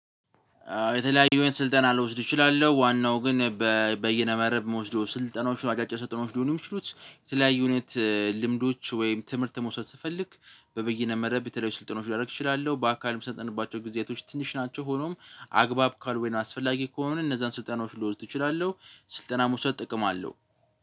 የተለያዩ ስልጠና ልወስድ እችላለሁ ዋናው ግን በየነመረብ የምወስደው ስልጠናዎችን አጫጭ ሰጠኖችን ሊሆን ይችሉት። የተለያዩ እውነት ልምዶች ወይም ትምህርት መውሰድ ስፈልግ በበይነ መረብ በተለይ ስልጠኖች ላደርግ ይችላል። በአካልም የሚሰጥባቸው ጊዝያቶች ትንሽ ናቸው። ሆኖም አግባብ ካልሆነ አስፈላጊ ከሆነ እነዛን ስልጠናዎች ልወዝድ እችላለሁ። ስልጠና መውሰድ ጥቅም አለው